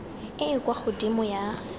e e kwa godimo ya